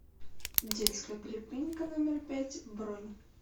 детская поликлиника номер пять бронь